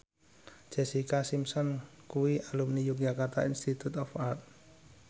Jessica Simpson kuwi alumni Yogyakarta Institute of Art